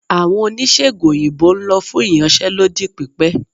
Awọn onisegùn oyinbo n lọ fun íyanse lodí pipẹ